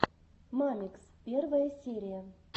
мамикс первая серия